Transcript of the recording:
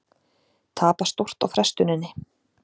Tapa stórt á frestuninni